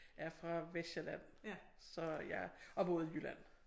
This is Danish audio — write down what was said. Er fra Vestsjælland så jeg og boet i Jylland